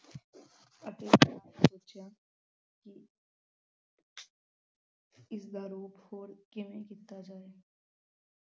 ਇਸ ਦਾ ਰੂਪ ਹੋਰ ਕਿਵੇਂ ਕੀਤਾ ਜਾਵੇ l